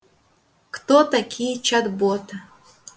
кто такие чат боты